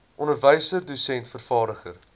onderwyser dosent vervaardiger